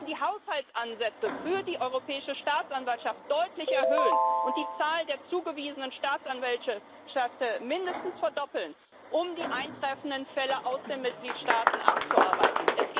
Wir müssen die Haushaltsansätze für die Europäische Staatsanwaltschaft deutlich erhöhen und die Zahl der zugewiesenen Staatsanwälte mindestens verdoppeln, um die eintreffenden Fälle aus den Mitgliedstaaten abzuarbeiten.